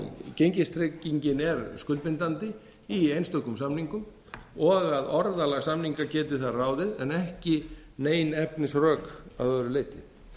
gengistryggingin er skuldbindandi í einstökum samningum og að orðalag samninga geti þar ráðið en ekki nein efnisrök að öðru leyti